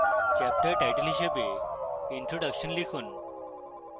chapter title হিসাবে introduction লিখুন